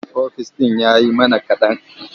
Ofis ɗin ya yi mana kaɗan.